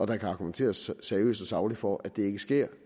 kan argumenteres seriøst og sagligt for at det ikke sker